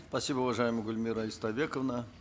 спасибо уважаемая гульмира истайбековна